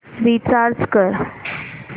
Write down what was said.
recharge कर